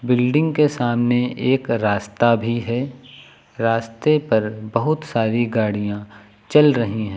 Building के सामने एक रास्ता भी है रास्ते पर बहुत सारी गाड़ियां चल रही हैं।